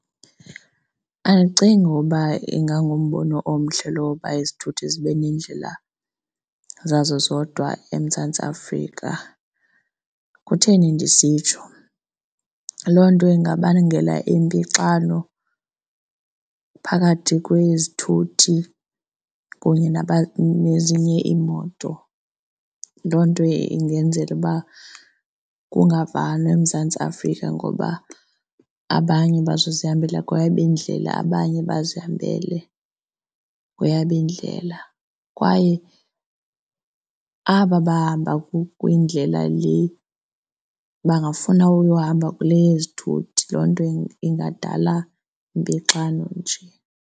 Andicingi uba ingangumbono omhle lowo uba izithuthi zibe nendlela zazo zodwa eMzantsi Afrika. Kutheni ndisitsho? Loo nto ingabangela impixano phakathi kwezithuthi kunye nezinye iimoto. Loo nto ingenzela uba kungavanwa eMzantsi Afrika ngoba abanye bazozihambela kwayabo indlela, abanye bazihambele kweyabo indlela kwaye aba bahamba kwindlela le, bangafuna uyohamba kule yezithuthi. Loo nto ingadala impixano nje.